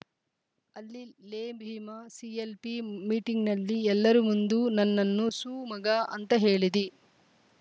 ಅಲ್ಲಿ ಲೇ ಭೀಮಾ ಸಿಎಲ್‌ಪಿ ಮೀಟಿಂಗ್‌ನಲ್ಲಿ ಎಲ್ಲರ ಮುಂದು ನನ್ನನ್ನು ಸೂ ಮಗ ಅಂತ ಹೇಳಿದಿ